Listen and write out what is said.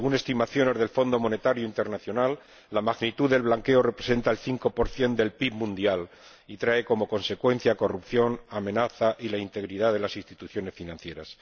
Según estimaciones del Fondo Monetario Internacional, la magnitud del blanqueo representa el 5 del PIB mundial y trae como consecuencia corrupción y una amenaza a la integridad de las instituciones financieras.